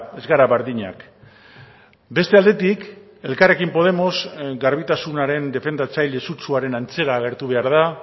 ez gara berdinak beste aldetik elkarrekin podemos garbitasunaren defendatzaile sutsuaren antzera agertu behar da